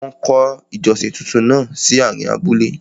Wọ́n kọ́ ìjọsìn túntún náà sí àárín abúlé.